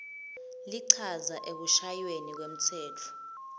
lichaza ekushayweni kwemtsetfo